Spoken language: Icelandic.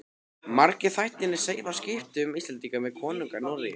Margir þættirnir segja frá skiptum Íslendinga við konunga í Noregi.